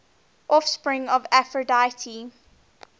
offspring of aphrodite